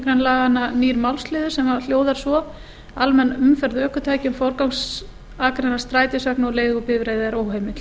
greinar laganna bætist nýr málsliður sem hljóðar svo með leyfi forseta almenn umferð ökutækja um forgangsakreinar strætisvagna og leigubifreiða er óheimil